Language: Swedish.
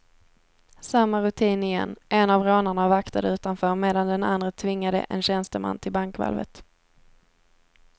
Samma rutin igen, en av rånarna vaktade utanför medan den andre tvingade en tjänsteman till bankvalvet.